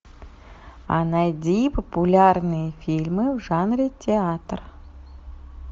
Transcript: а найди популярные фильмы в жанре театр